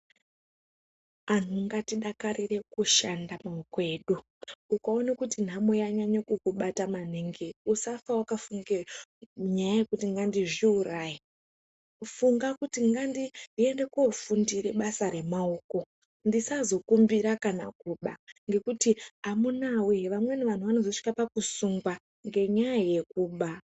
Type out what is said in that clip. Anhu ngatidakarire kushanda nemaoko edu, ukaone kuti nhamo yanyanya kukubata maningi usafa wakafunge nyaya yekuti ngandizviuraye funga kuti ngandiende koofundire basa remaoko ndisazokumbira kana kuba ngekuti amunawee vamweni vanhu vanozosvika pakusungwa ngenyaya yekuba.